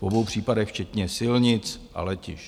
V obou případech včetně silnic a letišť.